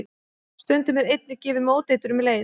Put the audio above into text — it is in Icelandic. Stundum er einnig gefið móteitur um leið.